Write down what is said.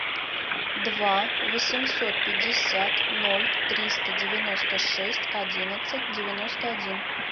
два восемьсот пятьдесят ноль триста девяносто шесть одиннадцать девяносто один